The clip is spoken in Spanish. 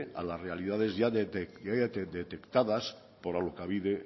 a las realidades ya detectadas por alokabide